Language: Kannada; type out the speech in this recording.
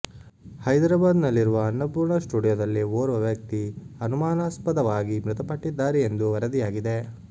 ಹೈದರಾಬಾದ್ ನಲ್ಲಿರುವ ಅನ್ನಪೂರ್ಣ ಸ್ಟುಡಿಯೋದಲ್ಲಿ ಓರ್ವ ವ್ಯಕ್ತಿ ಅನುಮಾನಾಸ್ಪದವಾಗಿ ಮೃತಪಟ್ಟಿದ್ದಾರೆ ಎಂದು ವರದಿಯಾಗಿದೆ